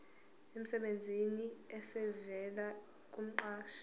emsebenzini esivela kumqashi